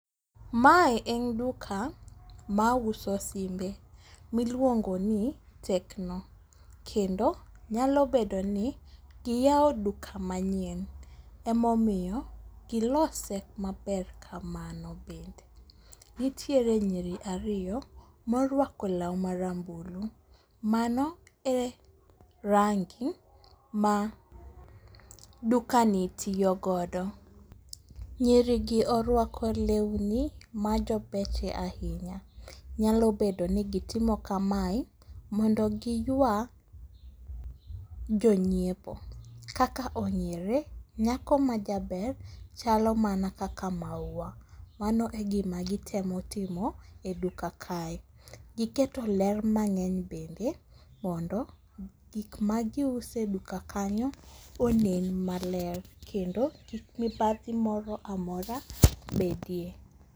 Mae en duka mauso simbe miluongo ni Tecno kendo nyalo bedo ni giyawo duka manyien emomiyo gilose maber kamano bende. Nitiere nyiri ariyo morwako law marambulu, mano e rangi ma dukani tiyo godo, nyirigi orwako lewni majobecho ahinya, nyalo bedo ni gitimo kamae mondo giywa jonyiepo, kaka ong'ere, nyako majaber chalo mana kaka maua, mano e gima gitemo timo e duka kae, giketi ler mang'eny bende gik magiuso ed uka kanyo onen maler kendo kik mibadhi moro amora bedie